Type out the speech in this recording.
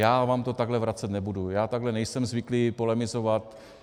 Já vám to takhle vracet nebudu, já takhle nejsem zvyklý polemizovat.